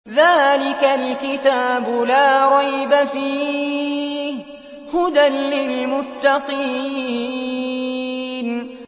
ذَٰلِكَ الْكِتَابُ لَا رَيْبَ ۛ فِيهِ ۛ هُدًى لِّلْمُتَّقِينَ